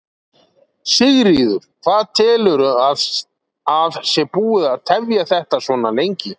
Sigríður: Hvað telurðu að sé búið að tefja þetta svona lengi?